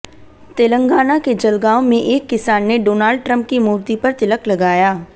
तेलंगाना के जलगांव में एक किसान ने डोनाल्ड ट्रंप की मूर्ति पर तिलक लगाया